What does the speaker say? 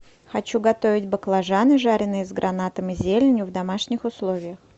хочу готовить баклажаны жареные с гранатом и зеленью в домашних условиях